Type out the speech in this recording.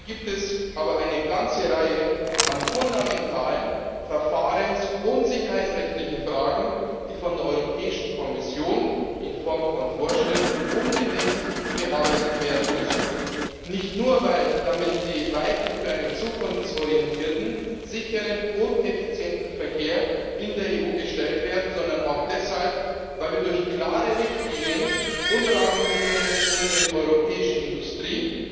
Dabei gibt es aber eine ganze Reihe an fundamentalen verfahrens und sicherheitsrechtlichen Fragen, die von der Europäischen Kommission in Form von Vorschriften unbedingt bearbeitet werden müssen, nicht nur, weil damit die Weichen für einen zukunftsorientierten, sicheren und effizienten Verkehr in der EU gestellt werden, sondern auch deshalb, weil wir durch klare Richtlinien und Rahmenbedingungen unserer europäischen Industrie